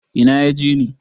Ina ya je ne?